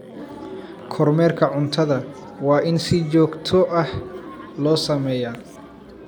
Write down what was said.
Kormeerka cuntada waa in si joogto ah loo sameeyaa.